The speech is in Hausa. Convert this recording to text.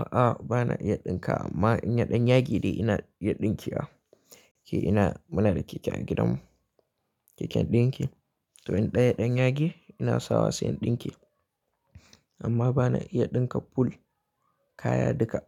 A'a, ba na iya ɗinka amma ina ɗan yage dai ina iya ɗinkewa Ke ina muna da keke a gidanmu, keken ɗinki. To in ɗaya ɗan yagi ina sawa sai in ɗinke amma ba na iya ɗinka full kaya duka.